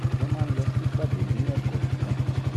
o maa n lọ si pade ni ẹkọọkan